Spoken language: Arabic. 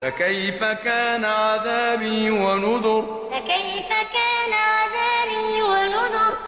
فَكَيْفَ كَانَ عَذَابِي وَنُذُرِ فَكَيْفَ كَانَ عَذَابِي وَنُذُرِ